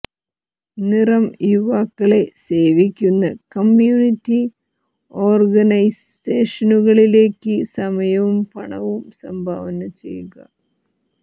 നിറം യുവാക്കളെ സേവിക്കുന്ന കമ്മ്യൂണിറ്റി ഓർഗനൈസേഷനുകളിലേക്ക് സമയവും പണവും സംഭാവന ചെയ്യുക